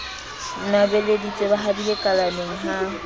nwabeleditse ba habile kalaneng ha